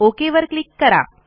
okay वर click करा